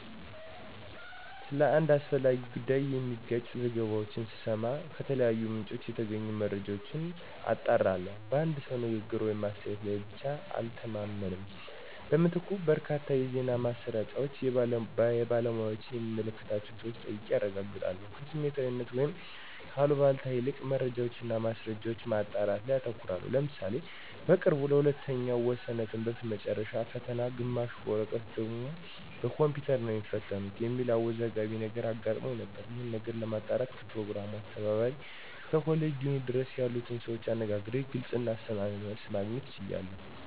ስለ አንድ አስፈላጊ ጉዳይ የሚጋጭ ዘገባዎችን ስሰማ ከተለያዩ ምንጮች የተገኙ መረጃዎችን አጣራለሁ። በአንድ ሰው ንግግር ወይም አስተያየት ላይ ብቻ አልተማመንም። በምትኩ በርካታ የዜና ማሰራጫዎችን፣ የባለሙያዎችን የሚመለከታቸውን ሰወች ጠይቄ አረጋግጣለሁ። ከስሜታዊነት ወይም ከአሉባልታ ይልቅ መረጃዎችን እና ማስረጃዎችን ማጣራት ላይ አተኩራለሁ። ለምሳሌ በቅርቡ ለሁለተኛው ወሰነ ትምህርት መጨረሻ ፈተና ግማሹ በወረቀት ሌሎች ደግሞ በኮምፒውተር ነው የሚትፈተኑት የሚል አወዛጋቢ ነገር አጋጥሞን ነበር። ይሄንን ነገር ለማጣራት ከፕሮግራሙ አስተባባሪ እስከ ኮሌጅ ዲን ድረስ ያሉትን ሰዎች አነጋግሬ ግልጽ እና አስተማማኝ መልስ ለማግኘት ችያለሁ።